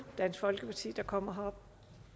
dansk folkeparti der kommer herop